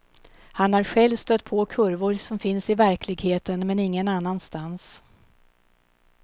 Han har själv stött på kurvor som finns i verkligheten, men ingen annanstans.